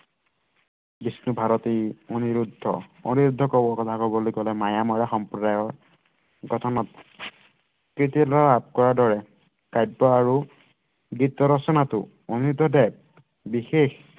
বিষ্ণুভাৰতী অণিৰুদ্ধ অণিৰুদ্ধ কথা কৱলৈ গলে মায়াময় সম্প্ৰদায়ৰ গঠনত দৰে কাব্য আৰু গীত ৰচনাতো অণিৰুদ্ধ দেৱ বিশেষ